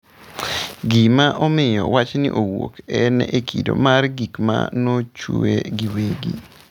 Gima omiyo wachni owuok en e kido mar gik ma nochue giwegi.